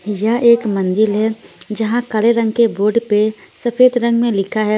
यह एक मंदिल है जहां काले रंग के बोर्ड पे सफेद रंग में लिखा है।